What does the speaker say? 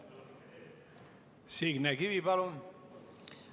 Signe Kivi, palun!